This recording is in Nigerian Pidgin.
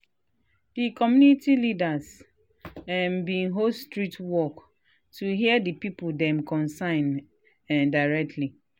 um the community leaders um been host street walk to hear the people dem concern um directly.